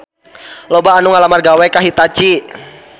Loba anu ngalamar gawe ka Hitachi